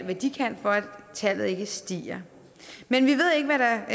hvad de kan for at tallet ikke stiger men vi ved ikke hvad der